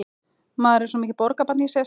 Maður er svo mikið borgarbarn í sér.